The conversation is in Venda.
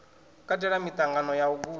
katela miṱangano ya u guda